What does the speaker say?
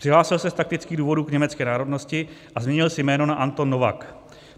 Přihlásil se z taktických důvodů k německé národnosti a změnil si jméno na Anton Novak.